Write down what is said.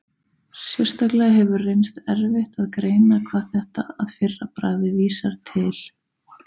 Sérstaklega hefur reynst erfitt að greina hvað þetta að fyrra bragði vísar til.